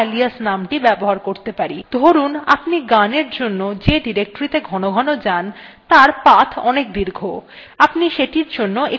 ধরুন আপনি গানের জন্য যে ডিরেক্টরীত়ে ঘনঘন যান তার path অনেক দীর্ঘ আপনি সেটির জন্য একটি alias নাম রাখতে পারেন